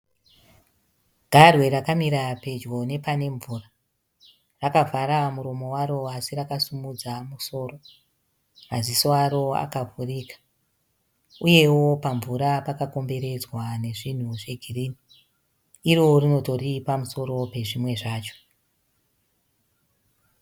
Garwe rakamira pedyo nepane mvura. Rakavhara muromo waro asi rakasimudza musoro, maziso aro akavhurika. Uyewo pamvura pakakomberedzwa nezvinhu zvegirini. Iro rinotori pamusoro pezvimwe zvacho.